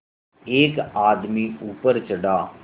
एक आदमी ऊपर चढ़ा